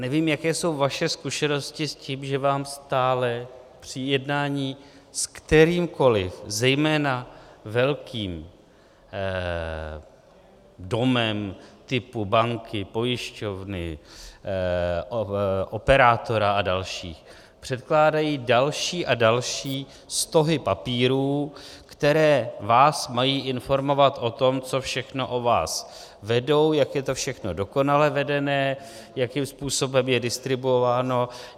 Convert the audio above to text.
Nevím, jaké jsou vaše zkušenosti s tím, že vám stále při jednání s kterýmkoliv, zejména velkým domem typu banky, pojišťovny, operátora a dalších předkládají další a další stohy papírů, které vás mají informovat o tom, co všechno o vás vedou, jak je to všechno dokonale vedené, jakým způsobem je distribuováno...